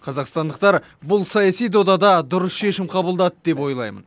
қазақстандықтар бұл саяси додада дұрыс шешім қабылдады деп ойлаймын